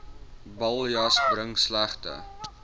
baljus bring slegte